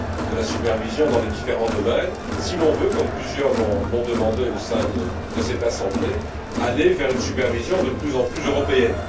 de la supervision dans les différents domaines si l'on veut, comme plusieurs l'ont demandé au sein de cette assemblée, aller vers une supervision de plus en plus européenne.